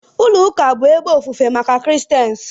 Ulo uka bụ ebe ofufe maka christains